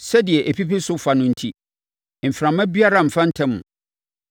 sɛdeɛ ɛpipi so fa no enti, mframa biara mfa ntam.